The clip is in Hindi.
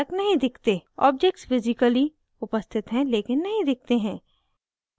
objects physically उपस्थित हैं लेकिन नहीं दिखते हैं